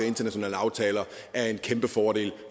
internationale aftaler er en kæmpe fordel